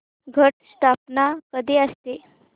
घट स्थापना कधी असते